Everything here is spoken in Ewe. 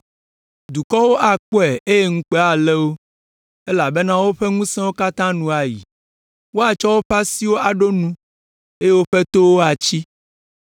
Dukɔwo akpɔe eye ŋukpe alé wo elabena woƒe ŋusẽwo katã nu ayi. Woatsɔ woƒe asiwo aɖo nu eye woƒe towo atsi.